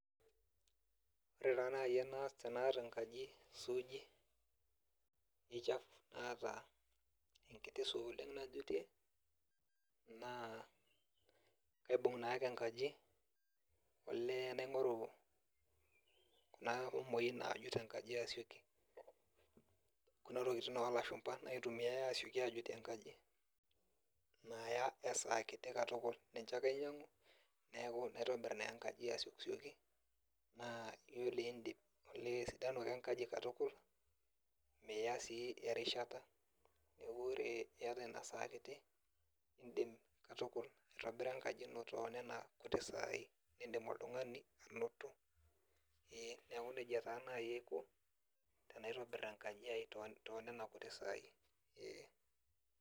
Ore taa nai enaas tenaata enkaji suuji, ichafu naata enkiti saa oleng najutie, naa aibung naake enkaji, olee naing'oru naa omoi naajut enkaji asioki. Kuna tokiting olashumpa naitumiai asioki ajutie enkaji. Naya esaa kiti katukul. Ninche ake ainyang'u, neku naitobir naa enkaji asioki. Naa yiolo idip esidanu ake enkaji katukul, mia sii erishata. Neeku ore iata inasaa kiti, idim katukul aitobira enkaji ino tonena kuti sai nidim oltung'ani anoto, ee neeku nejia taa nai aiko, tenaitobir enkaji ai tonena kuti sai. Ee.